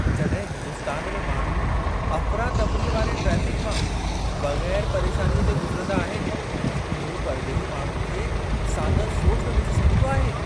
जॾहिं हिंदुस्तान में माण्हू अफ़रातफ़रीअ वारे ट्रेफ़िक मां बग़ैरु परेशानीअ जे गुज़िरंदा आहिनि, इहो परॾेही माण्हुनि खे सांदहि सोच में विझी छॾींदो आहे।